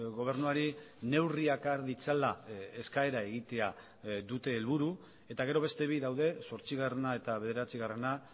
gobernuari neurriak har ditzala eskaera egitea dute helburu eta gero beste bi daude zortzigarrena eta bederatzigarrena